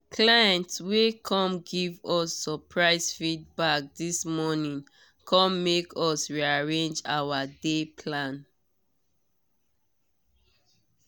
client wey come give us surprise feedback this morning come make us rearrange our day plan.